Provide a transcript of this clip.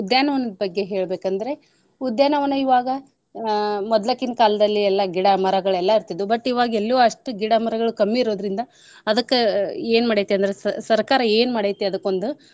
ಉದ್ಯಾನ ವನದ್ ಬಗ್ಗೆ ಹೇಳ್ಬೇಕಂದ್ರೆ , ಉದ್ಯಾನ ವನ ಇವಾಗ ಅಹ್ ಮೊದ್ಲಕಿನ್ ಕಾಲ್ದಲ್ಲಿ ಎಲ್ಲಾ ಗಿಡ ಮರಗಳ್ ಎಲ್ಲಾ ಇರ್ತಿದ್ವು. but ಇವಾಗೆಲ್ಲು ಅಷ್ಟು ಗಿಡ ಮರಗಳ್ ಕಮ್ಮಿ ಇರೋದ್ರಿಂದ ಅದಕ್ಕ ಏನ್ ಮಾಡೈತಂದ್ರೆ ಸ~ ಸರ್ಕಾರ ಏನ್ ಮಾಡೈತಿ ಅದುಕೊಂದು.